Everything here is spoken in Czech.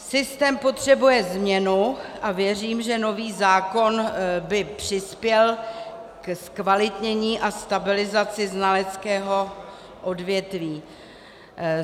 Systém potřebuje změnu a věřím, že nový zákon by přispěl ke zkvalitnění a stabilizaci znaleckého odvětví.